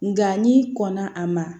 Nka n'i kɔnna a ma